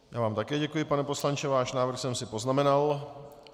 Já vám také děkuji, pane poslanče, váš návrh jsem si poznamenal.